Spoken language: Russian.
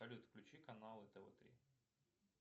салют включи канал тв три